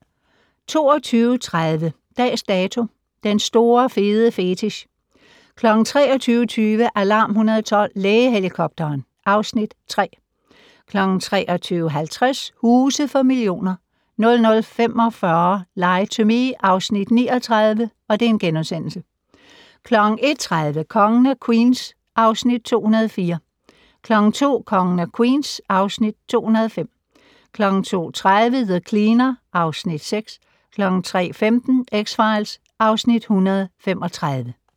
22:30: Dags Dato: Den store fede fetich 23:20: Alarm 112 - Lægehelikopteren (Afs. 3) 23:50: Huse for millioner 00:45: Lie to Me (Afs. 39)* 01:30: Kongen af Queens (Afs. 204) 02:00: Kongen af Queens (Afs. 205) 02:30: The Cleaner (Afs. 6) 03:15: X-Files (Afs. 135)